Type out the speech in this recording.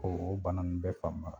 O o bana nun bɛɛ fanba